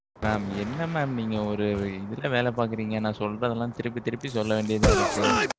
என்ன mam நீங்க ஒரு, இதுல வேலை பாக்குறீங்க. நான் சொல்றதெல்லாம், திருப்பி, திருப்பி, சொல்ல வேண்டியதா இருக்கு.